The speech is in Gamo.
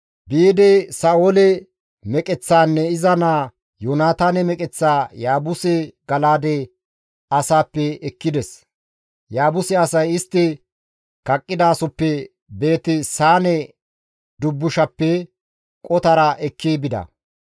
biidi Sa7oole meqeththaanne iza naa Yoonataane meqeththaa Yaabuse Gala7aade asaappe ekkides. Yaabuse asay, istti kaqqidasoppe Beeti-Saane dubbushappe qotara ekki bida.